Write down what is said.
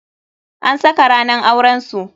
An saka ranan auren su.